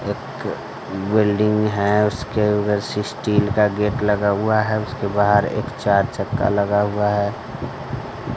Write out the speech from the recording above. एक बिल्डिंग है उसके स्टील का गेट लगा हुआ है उसके बाहर एक चार चक्का लगा हुआ है।